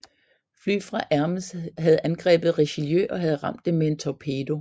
Fly fra Hermes havde angrebet Richelieu og havde ramt det med en torpedo